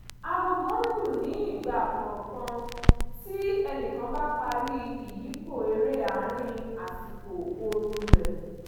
agogo ń lù ní ìgbà kọ̀ọ̀kan tí ẹnìkan bá parí ìyípo eré àárín àsìkò ooru rẹ̀